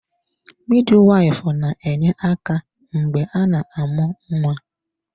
Midwife na-enye aka mgbe a na-amụ nwa.